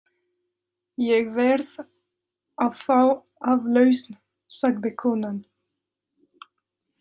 Ég verð að fá aflausn, sagði konan.